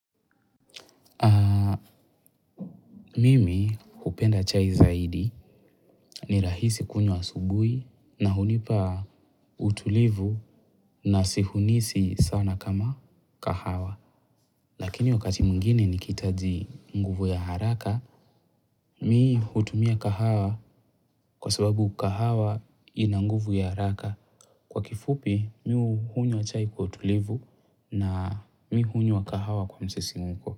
Mimi hupenda chai zaidi ni rahisi kunywa asubuhi na hunipa utulivu na si hunisi sana kama kahawa. Lakini wakati mwingine nikihitaji nguvu ya haraka, mi hutumia kahawa kwa sababu kahawa ina nguvu ya haraka. Kwa kifupi, mi hunywa chai kwa utulivu na mi hunywa kahawa kwa msisimko.